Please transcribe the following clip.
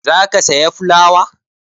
Za ka saya fulawa?